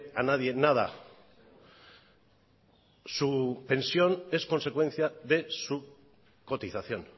a nadie nada su pensión es consecuencia de su cotización